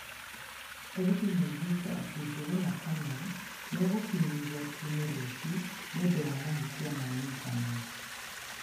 Borithi maugĩte atĩ Njũgũna Kamau nĩ egũkinyio igoti-inĩ rũciũ nĩ ũndũ wa mahĩtia ma initaneti.